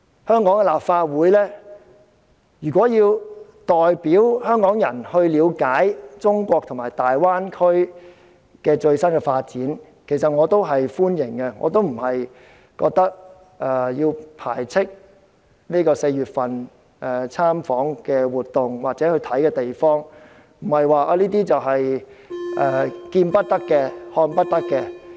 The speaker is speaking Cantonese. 香港立法會如要代表香港人了解中國和大灣區最新的發展，其實我是歡迎的，我並不是要貶斥參與4月份訪問活動或視察的同事，這些地方不是見不得、看不得的。